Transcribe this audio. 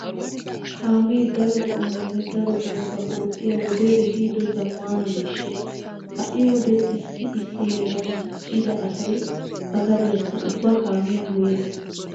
Kaame daro qommonne daro oosuwa oottiya wodee ehiido zammaana miishsha. Ha"i wode issi issi heeran diccida asay ba gadiyakka ubba kaamiyan goyissees.